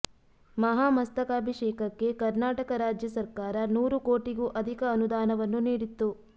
ಮಹಾಮಸ್ತಕಾಭಿಷೇಕಕ್ಕೆ ಕರ್ನಾಟಕ ರಾಜ್ಯ ಸರ್ಕಾರ ನೂರು ಕೋಟಿಗೂ ಅಧಿಕ ಅನುದಾನವನ್ನು ನೀಡಿತ್ತು